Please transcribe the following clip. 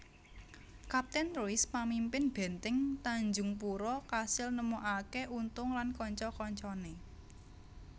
Kaptèn Ruys pamimpin bèntèng Tanjungpura kasil nemokaké Untung lan kanca kancané